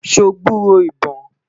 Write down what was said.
sọ gburó ibọn?